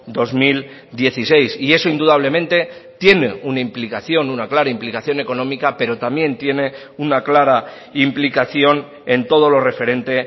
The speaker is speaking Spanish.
dos mil dieciséis y eso indudablemente tiene una implicación una clara implicación económica pero también tiene una clara implicación en todo lo referente